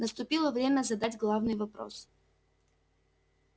наступило время задать главный вопрос